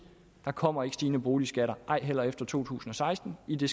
der kommer ikke stigende boligskatter ej heller efter to tusind og seksten i det